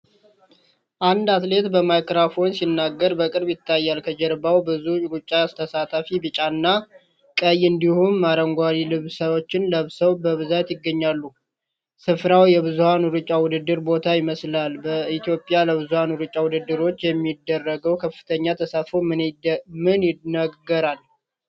አንድ አትሌት በማይክሮፎን ሲናገር በቅርበት ይታያል። ከጀርባው ብዙ ሩጫ ተሳታፊዎች ቢጫ እና ቀይ እንዲሁም አረንጓዴ ልብሶችን ለብሰው በብዛት ይገኛሉ። ሥፍራው የብዙኃን ሩጫ ውድድር ቦታ ይመስላል። በኢትዮጵያ ለብዙኃን ሩጫ ውድድሮች የሚደረገው ከፍተኛ ተሳትፎ ምን ይነግረናል?